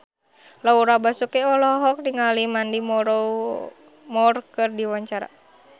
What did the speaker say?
Laura Basuki olohok ningali Mandy Moore keur diwawancara